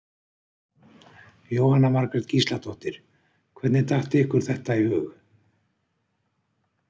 Jóhanna Margrét Gísladóttir: Hvernig datt ykkur þetta í hug?